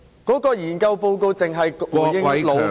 該研究報告只回應勞方......